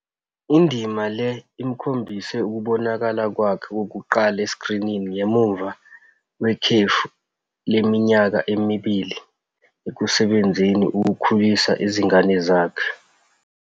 Indima le imkhombise ukubonakala kwakhe okokuqala esikrinini ngemuva kwekhefu leminyaka emibili ekusebenzeni ukukhulisa izingane zakhe.